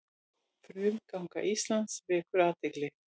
Framganga Íslands vekur athygli